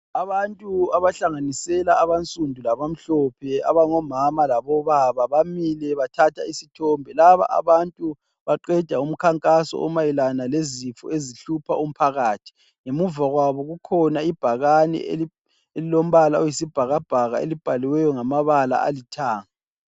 Abantu abahlanganisela abansundu labamhlophe abangomama labobaba bamile bathatha isithombe. Laba abantu baqeda umkhankaso omayelana lezifo ezihlupha umphakathi. Ngemuva kwabo kukhona ibhakane elilombala oyisibhakabhaka elibhaliweyo ngamabala alithanga.